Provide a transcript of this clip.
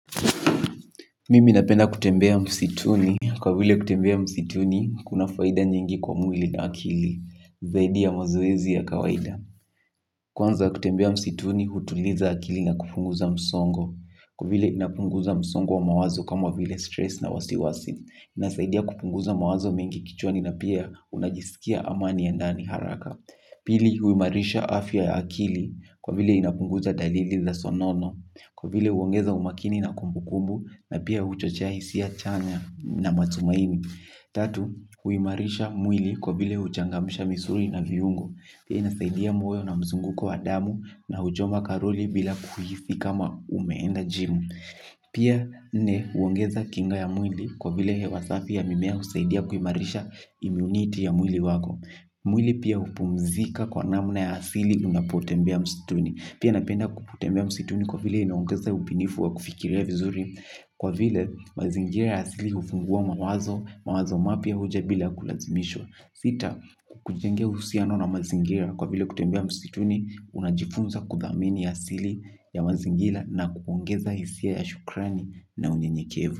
Mimi napenda kutembea msituni, kwa vile kutembea msituni, kuna faida nyingi kwa mwili na akili, zaidi ya mazoezi ya kawaida. Kwanza kutembea msituni, hutuliza akili na kupunguza msongo, kwa vile inapunguza msongo wa mawazo kama vile stress na wasiwasi, inasaidia kupunguza mawazo mingi kichwani na pia unajisikia amani ya ndani haraka. Pili huimarisha afya ya akili kwa vile inapunguza dalili za sonono kwa vile uongeza umakini na kumbu kumbu na pia uchochea hisia chanya na matumaini. Tatu huimarisha mwili kwa vile huchangamsha misuli na viungo pia inasaidia moyo na mzunguko wa damu, pia huchoma karoli bila kuhisi kama umeenda jimu. Pia nne, huongeza kinga ya mwili kwa vile hewa safi ya mimea husaidia kuimarisha imiuniti ya mwili wako. Mwili pia hupumzika kwa namna ya asili unapotembea msituni. Pia napenda kutembea msituni kwa vile inaongeza ubunifu wa kufikiria vizuri kwa vile mazingira ya asili hufungua mawazo. Mawazo mapya huja bila kulazimishwa. Sita hukujengea uhusiano na mazingira kwa vile kutembea msituni. Unajifunza kuthamini asili ya mazingira na kuongeza hisia ya shukrani na unyenyekevu.